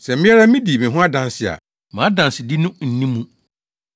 “Sɛ me ara midi me ho adanse a, mʼadansedi no nni mu.